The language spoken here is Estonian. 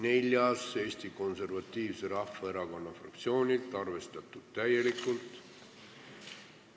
Neljas on Eesti Konservatiivse Rahvaerakonna fraktsioonilt ja arvestatud täielikult.